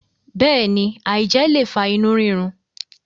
béèni, aijẹ le fa inu rirun.